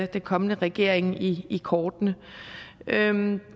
den kommende regering i kortene men